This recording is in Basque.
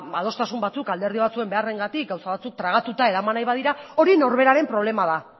adostasun batzuk alderdi batzuen beharrengatik gauza batzuk tragatuta eraman nahi badira hori norberaren problema da